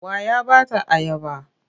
Wa ya ba ta ayaba?